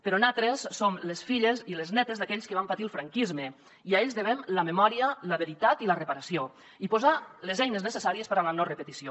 però nosaltres som les filles i les netes d’aquells que van patir el franquisme i a ells devem la memòria la veritat i la reparació i posar les eines necessàries per a la no repetició